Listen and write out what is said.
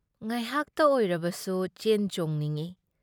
ꯉꯥꯏꯍꯥꯛꯇ ꯑꯣꯏꯔꯕꯁꯨꯨ ꯆꯦꯟ-ꯆꯣꯡꯅꯤꯡꯢ ꯫